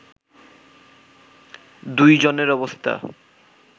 দুই জনের অবস্থা